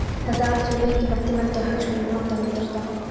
Þetta atriði er mikilvægt til verndar hagsmunum lánardrottna.